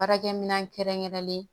Baarakɛminɛn kɛrɛnkɛrɛnlen